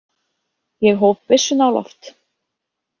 Ég hóf byssuna á loft.